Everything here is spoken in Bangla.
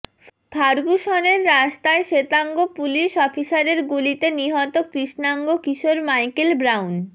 ফার্গুসনের রাস্তায় শ্বেতাঙ্গ পুলিস অফিসারের গুলিতে নিহত কৃষ্ণাঙ্গ কিশোর মাইকেল ব্রাউন